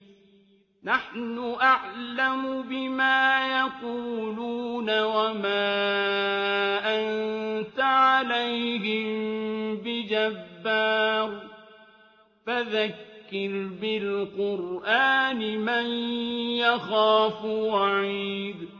نَّحْنُ أَعْلَمُ بِمَا يَقُولُونَ ۖ وَمَا أَنتَ عَلَيْهِم بِجَبَّارٍ ۖ فَذَكِّرْ بِالْقُرْآنِ مَن يَخَافُ وَعِيدِ